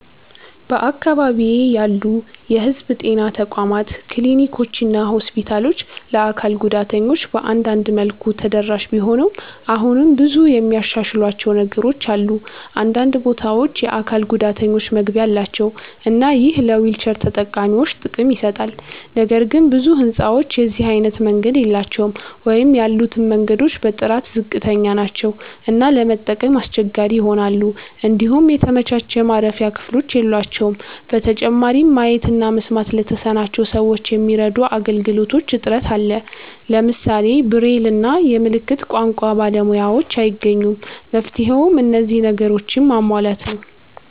በአካባቢዬ ያሉ የህዝብ ጤና ተቋማት ክሊኒኮችና ሆስፒታሎች ለአካል ጉዳተኞች በአንዳንድ መልኩ ተደራሽ ቢሆኑም አሁንም ብዙ የሚያሻሽሏቸው ነገሮች አሉ። አንዳንድ ቦታዎች የአካል ጉዳተኞች መግቢያ አላቸው እና ይህ ለዊልቸር ተጠቃሚዎች ጥቅም ይሰጣል። ነገር ግን ብዙ ህንጻዎች የዚህ አይነት መንገድ የላቸውም ወይም ያሉትም መንገዶች በጥራት ዝቅተኛ ናቸው እና ለመጠቀም አስቸጋሪ ይሆናሉ። እንዲሁም የተመቻቸ የማረፊያ ክፍሎች የሏቸውም። በተጨማሪም ማየት እና መስማት ለተሳናቸው ሰዎች የሚረዱ አገልግሎቶች እጥረት አለ። ለምሳሌ ብሬል እና የምልክት ቋንቋ ባለሙያዎችን አይገኙም። መፍትሄውም እነዚህን ነገሮች ማሟላት ነው።